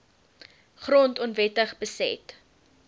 grond onwettig beset